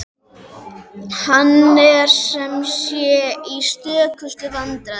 Hann er sem sé í stökustu vandræðum!